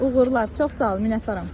Uğurlar, çox sağ ol, minnətdaram.